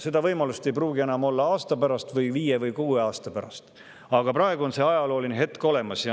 Seda võimalust ei pruugi enam olla aasta pärast või viie või kuue aasta pärast, aga praegu on see ajalooline hetk olemas.